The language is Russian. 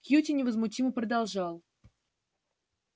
кьюти невозмутимо продолжал